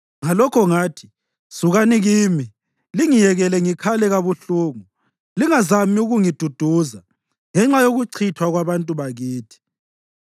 Ngakho ngathi, “Sukani kimi; lingiyekele ngikhale kabuhlungu. Lingazami ukungiduduza ngenxa yokuchithwa kwabantu bakithi.”